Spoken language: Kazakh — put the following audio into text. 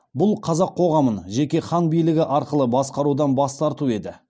бұл қазақ коғамын жеке хан билігі арқылы басқарудан бас тарту еді